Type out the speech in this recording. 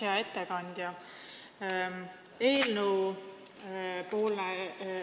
Hea ettekandja!